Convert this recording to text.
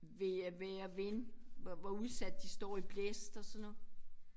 Vejr vejr og vind hvor hvor udsat de står i blæst og sådan noget